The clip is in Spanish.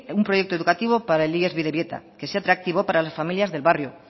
un proyecto educativo para el ies bidebieta que sea atractivo para las familias del barrio